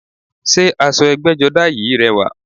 Sé aṣọ ẹgbẹ́jọdá yìí rẹwà?